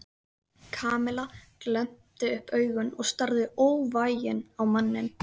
Kamilla glennti upp augun og starði óvægin á manninn.